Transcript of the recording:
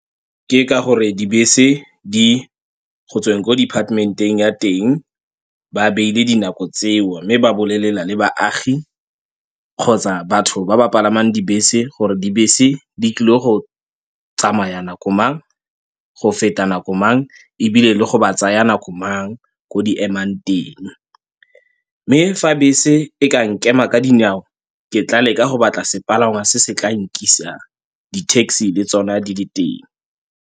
Ke ka gore dibese di go tsweng ko departmenteng ya teng, ba beile dinako tseo mme ba bolelela le baagi kgotsa batho ba ba palamang dibese gore dibese di tlile go tsamaya nako mang, go feta nako mang ebile le go ba tsaya nako mang ko di emang teng. Mme fa bese e ka nkema ka dinao ke tla leka go batla sepalangwa se se tla nkisang, di-taxi le tsona di le teng.